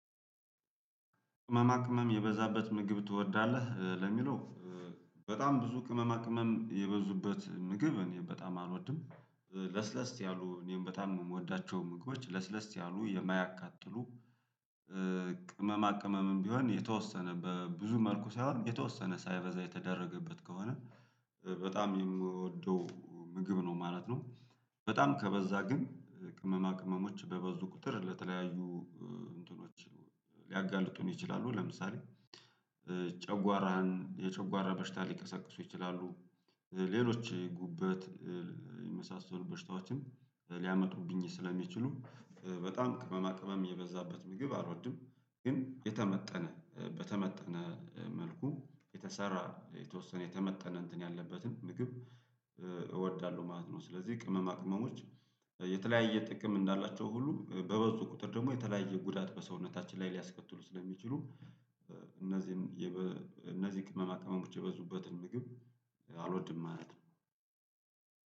ቅመማ ቅመም የበዛበት ምግብ ትወዳለህ ለሚለው? በጣም ብዙ ቅመማ ቅመም የበዙበት ምግብ እኔ በጣም አልወድም ለስለስ ያሉ እኔም በጣም የምወዳቸው ምግቦች ለስለስ ያሉ የማያቃጥሉ ቅመማ ቅመምም ቢሆን የተወሰነ በብዙ መልኩ ሳይሆን የተወሰነ ሳይበዛ የተደረገበት ከሆነ በጣም የምወደው ምግብ ነው ማለት ነው። በጣም ከበዛ ግን ቅመማ ቅመሞች በበዙ ቁጥር ለተለያዩ እንትኖች ሊያጋልጡን ይችላሉ ለምሳሌ ጨጓራን የጨጓራ በሽታ ሊቀሰቅሱ ይችላሉ። ሌሎች ጉበት የመሳሰሉ በሽታዎችን ሊያመጡብኝ ስለሚችሉ በጣም ቅመማ ቅመም የበዛበት ምግብ አልወድም። ግን የተመጠነ በተመጠነ መልኩ የተሰራ የተወሰነ የተመጠነ እንትን ያለበትን ምግብ እወዳለሁ ማለት ነው። ስለዚህ ቅመማ ቅመሞች የተለያየ ጥቅም እንዳላቸው ሁሉ በበዙ ቁጥር ደግሞ የተለያየ ጉዳት በሰውነታችን ላይ ሊያስከትሉ ስለሚችሉ እነዚህን እነዚህ ቅመማ ቅመሙን ብቻ የበዙበትን ምግብ አልወድም ማለት ነው።